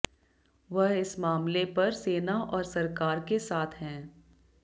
वह इस मामले पर सेना और सरकार के साथ हैं